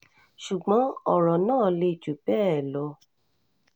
ṣùgbọ́n ọ̀rọ̀ náà le jù bẹ́ẹ̀ lọ